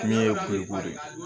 Min ye de ye